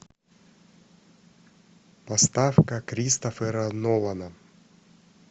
поставь ка кристофера нолана